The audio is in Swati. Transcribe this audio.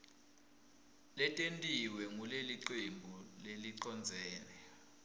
letentiwe ngulelicembu lelicondzene